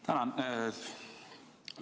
Tänan!